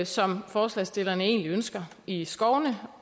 som forslagsstillerne egentlig ønsker i skovene